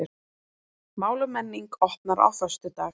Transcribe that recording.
Mál og menning opnar á föstudag